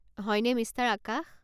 হয়নে, মিষ্টাৰ আকাশ?